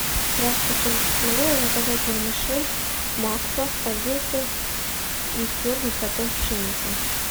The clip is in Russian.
здравствуйте могу я заказать вермишель макфа спагетти из твердых сортов пшеницы